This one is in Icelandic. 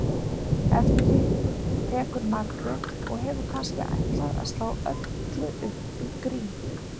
Eftir því tekur Margrét og hefur kannski ætlað að slá öllu upp í grín